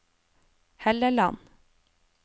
Helleland